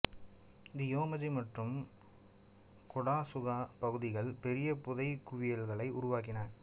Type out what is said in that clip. தி யோமஜி மற்றும் கொடாசுகா பகுதிகள் பெரிய புதைகுவியல்களை உருவாக்கின